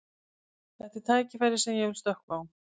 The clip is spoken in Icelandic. Þetta er tækifæri sem ég vil stökkva á.